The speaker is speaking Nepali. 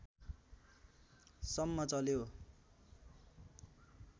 सम्म चल्यो